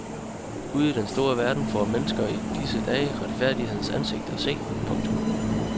Ude i den store verden får mennesker i disse dage retfærdighedens ansigt at se. punktum